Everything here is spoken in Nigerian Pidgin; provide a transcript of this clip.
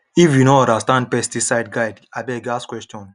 if you no understand pesticide guide abeg ask question